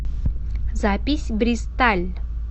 запись бризталь